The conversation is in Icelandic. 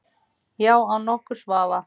Já, án nokkurs vafa.